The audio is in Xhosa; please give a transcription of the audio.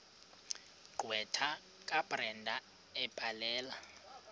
gqwetha kabrenda ebhalela